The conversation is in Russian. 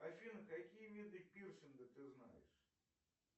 афина какие виды пирсинга ты знаешь